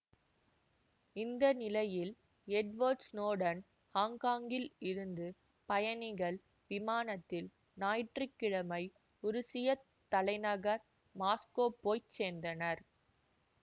இந்த நிலையில் Edward Snowden ஹாங்ஹாங்கில் இருந்து பயணிகள் விமானத்தில் ஞாயிற்று கிழமை உருசியத் தலைநகர் மாஸ்கோ போய் சேர்ந்தார்